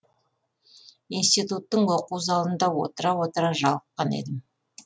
институттың оқу залында отыра отыра жалыққан едім